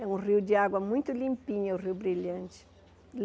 É um rio de água muito limpinha, o Rio Brilhante.